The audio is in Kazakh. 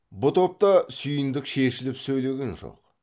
бұ топта сүйіндік шешіліп сөйлеген жоқ